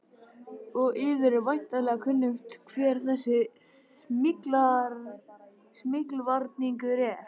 Og yður er væntanlega kunnugt hver þessi smyglvarningur er.